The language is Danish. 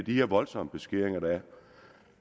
her voldsomme beskæringer der er